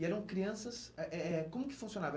E eram crianças... Ah eh eh como que funcionava?